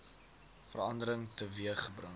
verandering teweeg gebring